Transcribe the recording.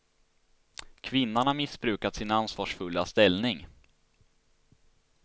Kvinnan har missbrukat sin ansvarsfulla ställning.